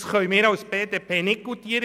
Das können wir als BDP nicht goutieren.